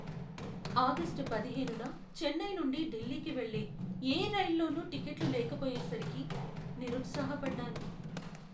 August పదిహేనున చెన్నై నుండి ఢిల్లీకి వెళ్ళే ఏ రైల్లోనూ టిక్కెట్లు లేకపోయేసరికి నిరుత్సాహపడ్డాను.